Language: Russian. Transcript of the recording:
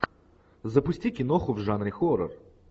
запусти киноху в жанре хоррор